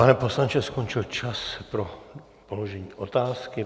Pane poslanče, skončil čas pro položení otázky.